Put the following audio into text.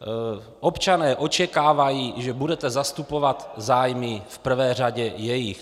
Občané očekávají, že budete zastupovat zájmy v prvé řadě jejich.